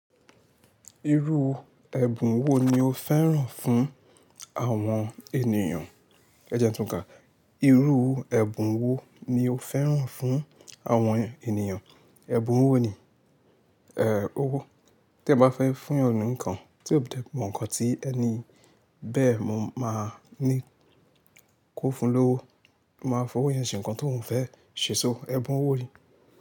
Irú ẹ̀bùn wo ni o fẹ́ràn fún àwọn ènìyàn? Ẹ jẹ́ n tun ka. Irú ẹ̀bùn wo ni o fẹ́ràn fún àwọn ènìyàn? Ẹ̀bùn wo ni? Ee owo tí ẹ bá fẹ́ fún yan ni nǹkan, tí ó bá jẹ́ mọ̀ nǹkan tí ẹni bẹ́ẹ̀ mo máa ní kó fún un lówó, mo máa fowó yẹn ṣe nǹkan tóun fẹ́ ṣe ẹ̀bùn owo ni.